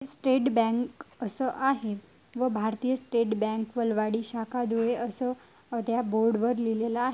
State Bank अस आहे व भारतीय स्टेट बँक वलवाडी शाखा धुळे अस त्या बोर्ड वर लिहलेला आहे.